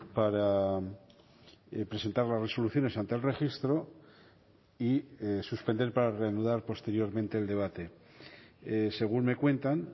para presentar las resoluciones ante el registro y suspender para reanudar posteriormente el debate según me cuentan